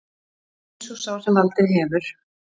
Eins og sá sem valdið hefur